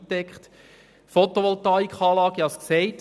Eine Photovoltaikanlage wird montiert.